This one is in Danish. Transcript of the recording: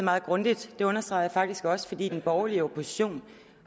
meget grundigt og det understregede jeg faktisk også den borgerlige opposition